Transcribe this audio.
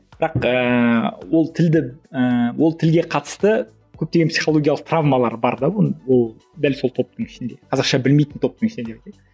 бірақ ііі ол тілді ііі ол тілге қатысты көптеген психологиялық травмалар бар да оның ол дәл сол топтың ішінде қазақша білмейтін топтың ішінде деп айтайыншы